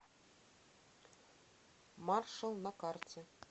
маршал на карте